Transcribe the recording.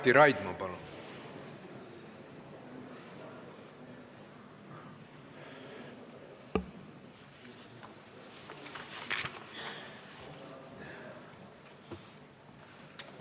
Mati Raidma, palun!